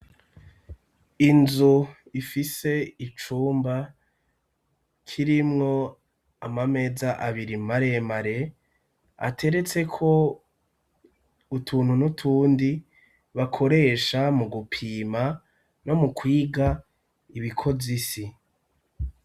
Inzu ifise icumba kirimwo amameza abiri maremare ateretseko utuntu n'utundi bakoresha mu gupima no mukwiga ibikoze isi.